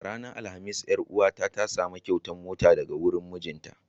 A ranar alhamis, ƴar uwa ta samu kyautar mota daga wurin mijinta.